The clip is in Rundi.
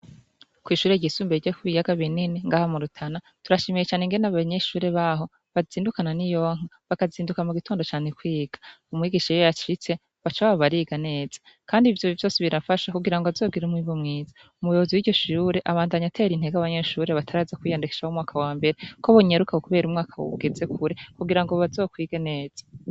Kwishure ryisumbuye ryo kubiyaga binini ngaha murutana turashimiye cane ingene abanyeshure baho bazindukananiyonka bakazinduka mugitondo cane kwiga umwigisha yashitse bacababa bariga neza kandi ivyo vyose birafasha kugirango azogir umwimbu mwiza umuyobozi wiryo shure abandanya atera intege abanyeshure bataraza kwiyandikisha bo mumwaka wambere ko bonyaruka kuko umwaka ugeze kure kugirango bazokwige neza